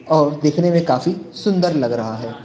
और देखने में काफी सुंदर लग रहा है।